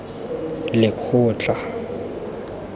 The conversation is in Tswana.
lekgotla